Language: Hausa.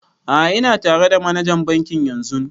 A'a ina tare da manajan bankin yanzun